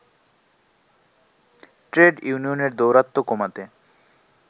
trade ইউনিয়নের দৌরাত্ম্য কমাতে